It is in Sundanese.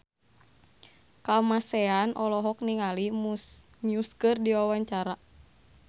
Kamasean olohok ningali Muse keur diwawancara